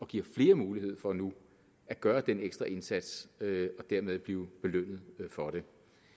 giver flere mulighed for nu at gøre den ekstra indsats og dermed blive belønnet for det